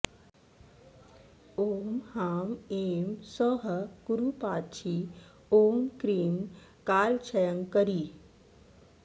ॐ ह्रां ऐं सौः कुरूपाक्षी ॐ क्रीं कालक्षयङ्करी